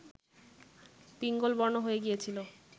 পিঙ্গলবর্ণ হয়ে গিয়েছিল